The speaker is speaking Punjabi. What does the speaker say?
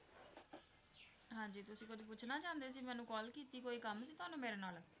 ਹਾਂਜੀ ਤੁਸੀਂ ਕੁਝ ਪੁੱਛਣਾ ਚਾਹੁੰਦੇ ਸੀ, ਮੈਨੂੰ call ਕੀਤੀ ਕੋਈ ਕਮ ਸੀ ਤੁਹਾਨੁੰ ਮੇਰੇ ਨਾਲ?